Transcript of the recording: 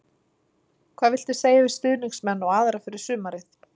Hvað viltu segja við stuðningsmenn og aðra fyrir sumarið?